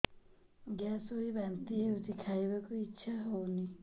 gas ହୋଇ ବାନ୍ତି ହଉଛି ଖାଇବାକୁ ଇଚ୍ଛା ହଉନି